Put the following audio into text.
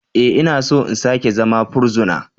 E! Ina so in sake zama fursuna.